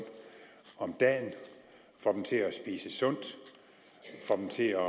om dagen får dem til at spise sundt får dem til at